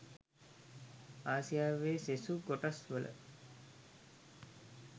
ආසියාවේ සෙසු කොටස් වල